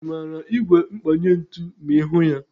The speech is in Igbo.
Ị maara ígwè mkpanye ntụ ma ịhụ ya?